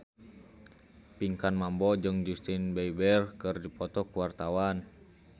Pinkan Mambo jeung Justin Beiber keur dipoto ku wartawan